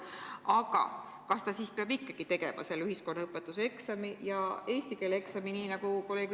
Aga kas see noor inimene peab ikkagi koolis tegema selle ühiskonnaõpetuse eksami ja eesti keele eksami?